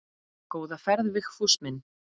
Góða ferð Vigfús minn.